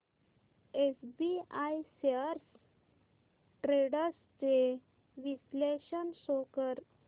SBI shares trends चे विश्लेषण show कर